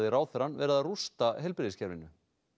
ráðherrann vera að rústa heilbrigðiskerfinu